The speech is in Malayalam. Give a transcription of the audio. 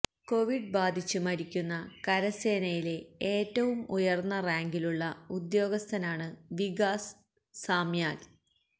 കൊവിഡ് ബാധിച്ച് മരിക്കുന്ന കരസേനയിലെ ഏറ്റവും ഉയര്ന്ന റാങ്കിലുള്ള ഉദ്യോഗസ്ഥനാണ് വികാസ് സാമ്യാല്